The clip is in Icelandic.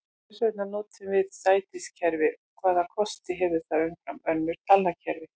Hvers vegna notum við sætiskerfi og hvaða kosti hefur það umfram önnur talnakerfi?